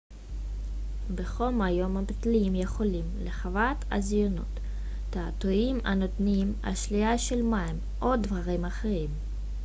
בחום היום המטיילים יכולים לחוות חזיונות תעתועים הנותנים אשליה של מים או דברים אחרים